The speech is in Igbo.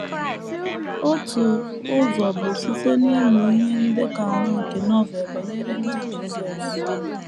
Otu ụzọ bụ site n’ịmụ ihe ndekọ anọ nke Novel banyere ndụ Jisọs.